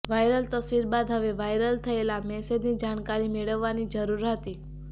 viral તસ્વીર બાદ હવે વાયરલ થયેલા મેસેજની જાણકારી મેળવવાની જરૂર હતી